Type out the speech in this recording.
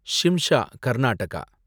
Shimsha, Karnataka